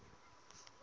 sayense